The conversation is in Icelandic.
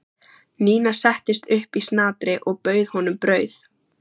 Nína settist upp í snatri og bauð honum brauð.